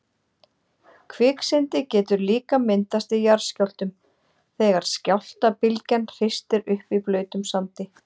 Kviksyndi getur líka myndast í jarðskjálftum þegar skjálftabylgjan hristir upp í blautum sandi.